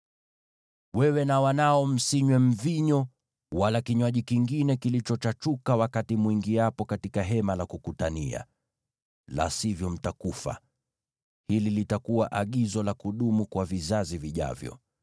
“Wewe na wanao msinywe mvinyo wala kinywaji kingine kilichochachuka wakati mwingiapo katika Hema la Kukutania, la sivyo mtakufa. Hili litakuwa Agizo la kudumu kwa vizazi vijavyo.